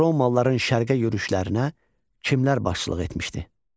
Romalarıların şərqə yürüşlərinə kimlər başçılıq etmişdi?